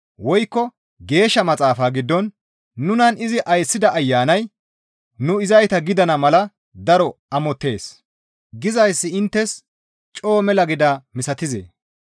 Woykko Geeshsha Maxaafa giddon, «Nunan izi ayssida Ayanay nu izayta gidana mala daro amottees» gizayssi inttes coo mela gidaa misatizee?